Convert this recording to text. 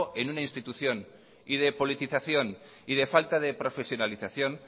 en una institución y de politización y de falta de profesionalización